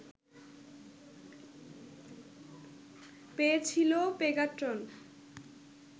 পেয়েছিল পেগাট্রন